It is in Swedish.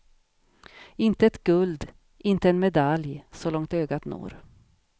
Inte ett guld, inte en medalj så långt ögat når.